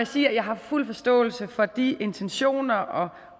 sige at jeg har fuld forståelse for de intentioner